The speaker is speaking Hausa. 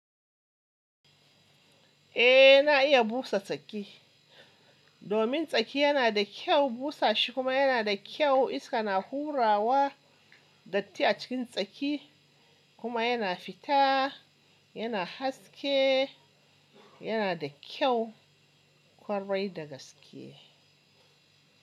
Eh na iya busa tsaki, domin tsaki yana da kyau busa shi kuma yana da kyau iska na hurawa datti a cikin tsaki kuma yana fita yana haske yana da kyau kwarai da gaske.